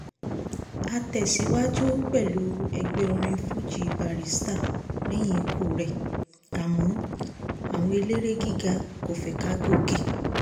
a tẹ̀síwájú pẹ̀lú ẹgbẹ́ orin fuji barrister lẹ́yìn ikú rẹ̀ àmọ́ àwọn eléré gíga kò fẹ́ ká gòkè